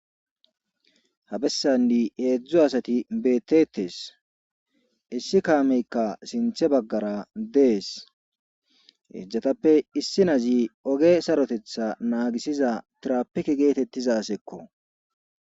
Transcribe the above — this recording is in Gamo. Habessanni eedzdzo asati beettetes issi kaameykka sinthe baggara dees eejzjatappe issi nazi oge sarotetha naagisiza trapike geetettizasekko